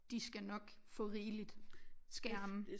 De skal nok få rigeligt skærm